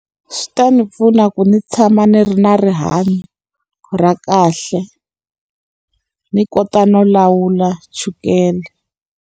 Swi ta ndzi pfuna ku ndzi tshama ndzi ri na rihanyo ra kahle, ndzi kota no lawula chukele.